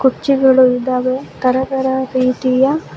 ಕುರ್ಚಿಗರ್ಳು ಇದಾವೆ ತರ ತರ ರರೀತಿಯ --